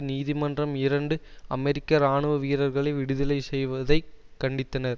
நீதிமன்றம் இரண்டு அமெரிக்க இராணுவ வீரர்களை விடுதலை செய்வதை கண்டித்தனர்